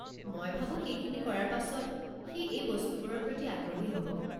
মই ভাবোঁ সেইখিনি কৰাৰ পাছত, সি এই বস্তুবোৰৰ প্ৰতি আগ্ৰহী হ'ব।